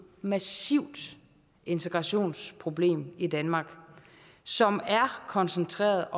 massivt integrationsproblem i danmark som er koncentreret